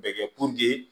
Bɛ kɛ